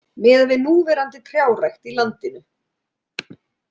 Miðað við núverandi trjárækt í landinu.